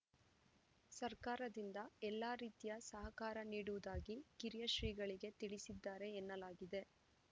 ಸರ್ಕಾರದಿಂದ ಎಲ್ಲ ರೀತಿಯ ಸಹಕಾರ ನೀಡುವುದಾಗಿ ಕಿರಿಯ ಶ್ರೀಗಳಿಗೆ ತಿಳಿಸಿದ್ದಾರೆ ಎನ್ನಲಾಗಿದೆ